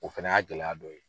O fɛnɛ y'a gɛlɛya dɔ ye.